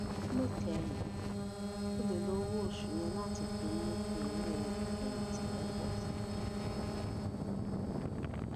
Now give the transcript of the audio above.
níkẹyìn o lè lo owó oṣù yẹn láti fi mú kí owó ìfèyìntì rẹ pò sí i